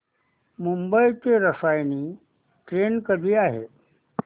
मुंबई ते रसायनी ट्रेन कधी आहे